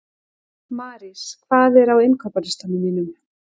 Marís, hvað er á innkaupalistanum mínum?